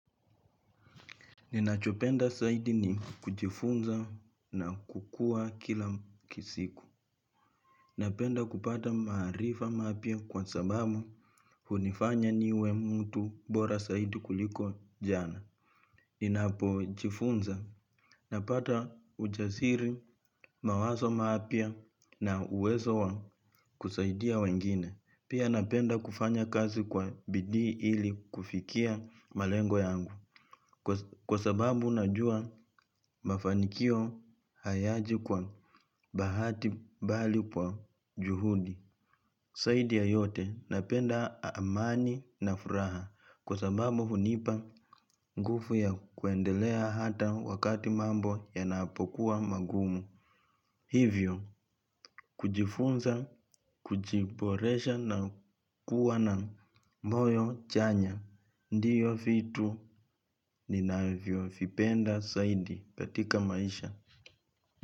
Ninachopenda zaidi ni kujifunza na kukuwa kila kisiku. Napenda kupata maarifa mapya kwa sababu hunifanya niwe mtu bora zaidi kuliko jana. Ninapojifunza napata ujasiri mawazo mapya na uwezo wa kusaidia wengine. Pia napenda kufanya kazi kwa bidii ili kufikia malengo yangu. Kwa sababu najua mafanikio hayaji kwa bahati bali kwa juhudi zaidi ya yote napenda amani na furaha. Kwa sababu hunipa nguvu ya kuendelea hata wakati mambo yanapokuwa magumu. Hivyo, kujifunza, kujiboresha na kuwa na moyo chanya. Ndiyo vitu ninavyo vipenda zaidi katika maisha.